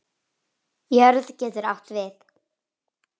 Jörð getur átt við